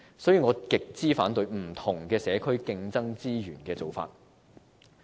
因此，我極為反對不同社區競爭資源的做法。